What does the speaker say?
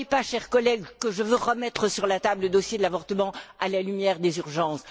Ne croyez pas, chers collègues, que je veuille remettre sur la table le dossier de l'avortement, à la lumière des urgences.